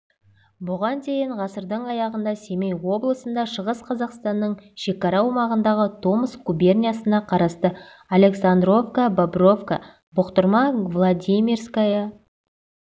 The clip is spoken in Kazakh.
бұған дейін ғасырдың аяғында семей облысында шығыс қазақстанның шекара аумағындағы томск губерниясына қарасты александровка бобровка бұқтырма владимирская